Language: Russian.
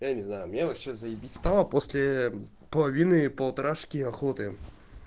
я не знаю мне вообще заибись дома после половины полторашки охоты